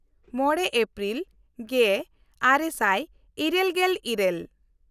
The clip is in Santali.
ᱢᱚᱬᱮ ᱮᱯᱨᱤᱞ ᱜᱮᱼᱟᱨᱮ ᱥᱟᱭ ᱤᱨᱟᱹᱞᱜᱮᱞ ᱤᱨᱟᱹᱞ